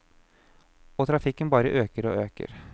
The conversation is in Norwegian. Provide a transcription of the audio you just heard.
Og trafikken bare øker og øker.